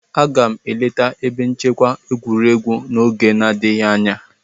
Aga m eleta ebe nchekwa egwuregwu n'oge n'adịghị anya.